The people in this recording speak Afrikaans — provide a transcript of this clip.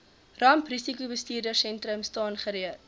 ramprisikobestuursentrum staan gereed